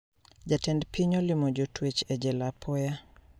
Jatend piny olimo jotwech e jela apoya